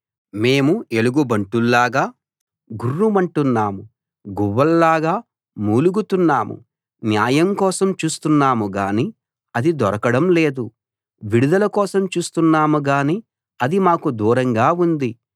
మేము ఎలుగుబంట్లలాగా గుర్రుమంటున్నాం గువ్వలలాగా మూలుగుతున్నాం న్యాయం కోసం చూస్తున్నాం గానీ అది దొరకడం లేదు విడుదల కోసం చూస్తున్నాం గానీ అది మాకు దూరంగా ఉంది